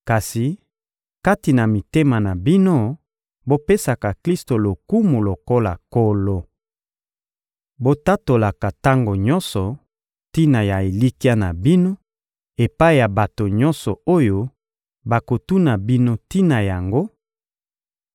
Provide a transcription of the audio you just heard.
Kasi, kati na mitema na bino, bopesaka Klisto lokumu lokola Nkolo. Botatolaka tango nyonso tina ya elikya na bino epai ya bato nyonso oyo bakotuna bino tina yango,